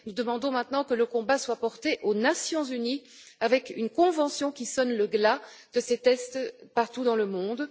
Nous demandons maintenant que le combat soit porté aux Nations unies avec une convention qui sonne le glas de ces tests partout dans le monde.